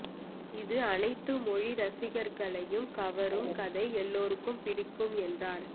இது அனைத்து மொழி ரசிகர்களையும் கவரும் கதை எல்லோருக்கும் பிடிக்கும் என்றார்